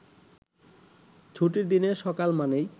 ছুটির দিনের সকাল মানেই